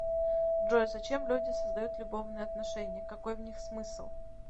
джой зачем люди создают любовные отношения какой в них смысл